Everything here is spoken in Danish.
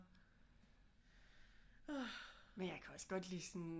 Men jeg kan også godt lide sådan